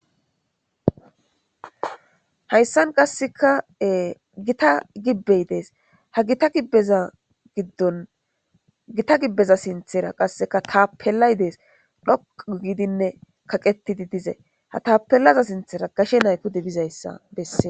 Hayssan qasseka gita gibbey dees ha gita gibbeza giddon gita gibbeza sinthera qasseka tapellay dees dhoqu gidinne kaqettidi dize ha tapellaza sinthera gashe nayko dibizayssa besse.